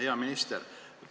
Hea minister!